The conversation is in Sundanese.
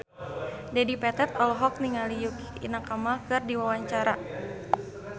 Dedi Petet olohok ningali Yukie Nakama keur diwawancara